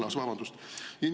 Või vabandust!